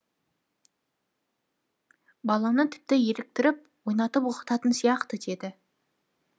баланы тіпті еліктіріп ойнатып оқытатын сияқты деді